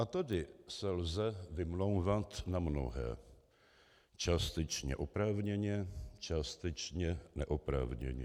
A tady se lze vymlouvat na mnohé, částečně oprávněně, částečně neoprávněně.